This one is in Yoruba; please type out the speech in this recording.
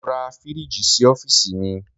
Mo ra fíríjì sí ọ́fíìsì mi.